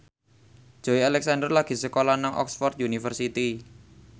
Joey Alexander lagi sekolah nang Oxford university